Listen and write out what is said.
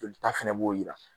Jolita fana b'o jira